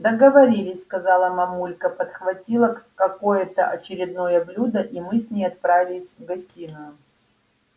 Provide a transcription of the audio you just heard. договорились сказала мамулька подхватила какое-то очередное блюдо и мы с ней отправились в гостиную